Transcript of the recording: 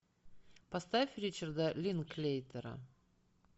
поставь ричарда линклейтера